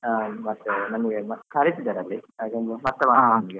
ಅಹ್ ಮತ್ತೆ ನಮ್ಗೆಲ್ಲಾ ಕರೀತಿದ್ದಾರೆ ಅಲ್ಲಿ ಹಾಗೊಂದು ಮತ್ತೆ ಮಾಡ್ತೇನೆ? .